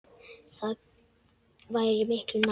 Það væri miklu nær.